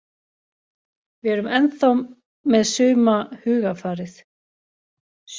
Við erum ennþá með suma hugarfarið.